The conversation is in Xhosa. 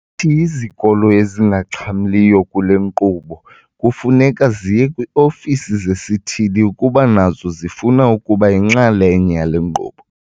Uthi izikolo ezingaxhamliyo kule nkqubo kufuneka ziye kwii-ofisi zesithili ukuba nazo zifuna ukuba yinxalenye yale nkqubo.